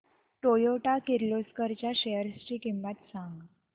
Toyota Kirloskar च्या shares ची किंमत सांग